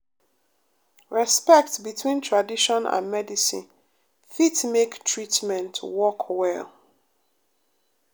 respect between tradition and medicine fit make treatment work well.